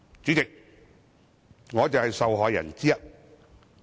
主席，我便是受害人之一。